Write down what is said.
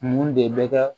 Mun de bɛ ka